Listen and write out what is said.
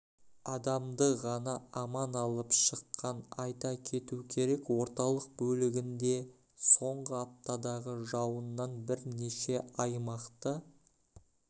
адамды ғана аман алып шыққан айта кету керек орталық бөлігінде соңғы аптадағы жауыннан бірнеше аймақты